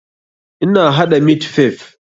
Ina haɗa mit fif